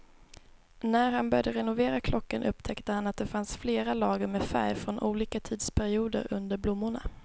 När han började renovera klockan upptäckte han att det fanns flera lager med färg från olika tidsperioder under blommorna.